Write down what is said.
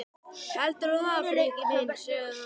Heldurðu það, Friðrik minn? sagði hann.